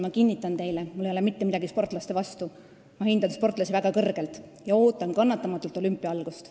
Ma kinnitan teile, et mul ei ole mitte midagi sportlaste vastu, ma hindan sportlasi väga kõrgelt ja ootan kannatamatult olümpia algust.